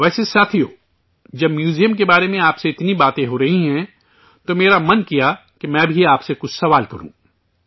ویسے ساتھیو، جب میوزیم کے بارے میں آپ سے اتنی باتیں ہو رہی ہیں، تو میرا من کیا کہ میں بھی آپ سے کچھ سوال کروں